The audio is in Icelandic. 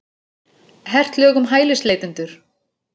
Hert lög um hælisleitendur